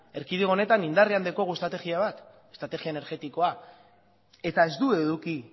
erkidego honetan indarrean daukagu estrategia bat estrategia energetikoa eta ez du eduki